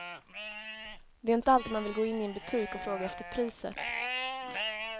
Det är inte alltid man vill gå in i en butik och fråga efter priset.